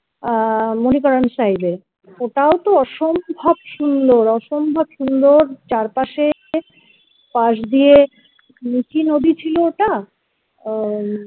আহ ওটাও তো অসম্ভব সুন্দর অসম্ভব সুন্দর চারপাশের পাশ দিয়ে নিচে যদি ছিল ওটা আহ